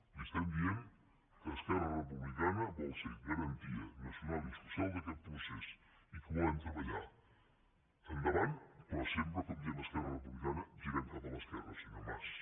li diem que esquerra republicana vol ser garantia nacional i social d’aquest procés i que volem treballar endavant però sempre com diem a esquerra republicana girant cap a l’esquerra senyor mas